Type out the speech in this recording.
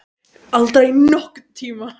Aldrei nokkurn tíma!